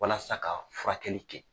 Walasa ka furakɛli kɛ.